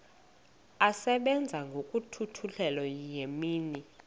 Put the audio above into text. asebenza ngokokhutheleyo imini